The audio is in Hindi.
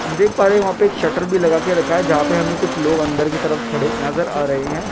हम देख पा रहे हो वह पे एक शटर भी लगा के रखा है जहां पर हमें कुछ लोग अंदर की तरफ खड़ेनजर आ रहे हैं।